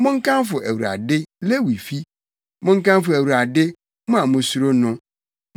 monkamfo Awurade, Lewi fi; monkamfo Awurade, mo a musuro no.